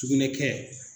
Sugunɛ kɛ